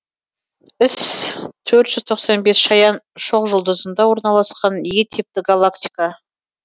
іс төрт жүз тоқсан бес шаян шоқжұлдызында орналасқан е типті галактика